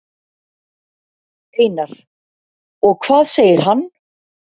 Einar: Og hvað segir hann?